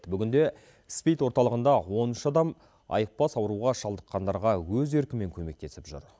бүгінде спид орталығында он үш адам айықпас ауруға шалдыққандарға өз еркімен көмектесіп жүр